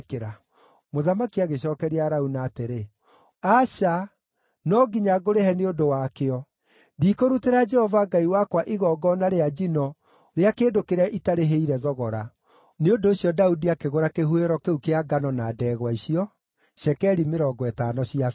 Mũthamaki agĩcookeria Arauna atĩrĩ, “Aca, no nginya ngũrĩhe nĩ ũndũ wakĩo. Ndikũrutĩra Jehova Ngai wakwa igongona rĩa njino rĩa kĩndũ kĩrĩa itarĩhĩire thogora.” Nĩ ũndũ ũcio Daudi akĩgũra kĩhuhĩro kĩu kĩa ngano na ndegwa icio na cekeri mĩrongo ĩtano cia betha.